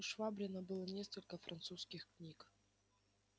у швабрина было несколько французских книг